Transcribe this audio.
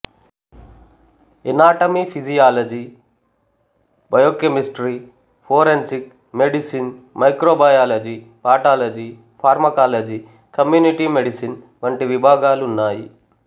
anatomy physiology biochemistry forensic medicine microbiology pathology pharmacology community medicine వంటి విభాగాలున్నాయి